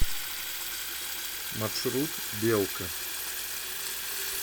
маршрут белка